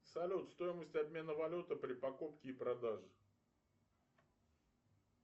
салют стоимость обмена валюты при покупке и продаже